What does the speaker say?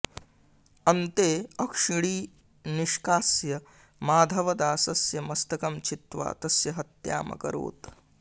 अन्ते अक्षिणी निष्कास्य माधवदासस्य मस्तकं छित्त्वा तस्य हत्यामकरोत्